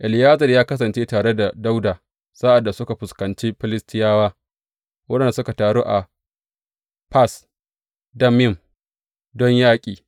Eleyazar ya kasance tare da Dawuda sa’ad da suka fuskanci Filistiyawa waɗanda suka taru a Fas Dammim don yaƙi.